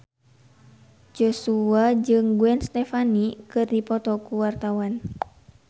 Joshua jeung Gwen Stefani keur dipoto ku wartawan